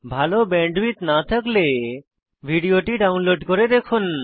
ভাল ব্যান্ডউইডথ না থাকলে ভিডিওটি ডাউনলোড করে দেখুন